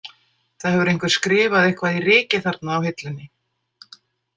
Það hefur einhver skrifað eitthvað í rykið þarna á hillunni.